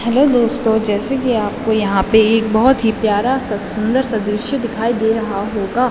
Hello दोस्तों जैसे की आपको यहाँ पे एक बहौत ही प्यारा सा सुंदर सा दॄश्य दिखाई दे रहा होगा।